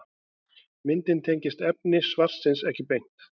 Myndin tengist efni svarsins ekki beint.